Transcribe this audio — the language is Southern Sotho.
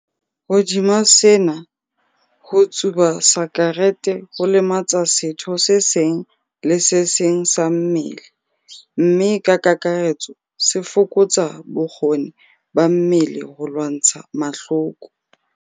Hodima sena, ho tsuba sakerete ho lematsa setho se seng le se seng sa mmele mme ka kakaretso se fokotsa bokgoni ba mmele ba ho lwantsha mahloko.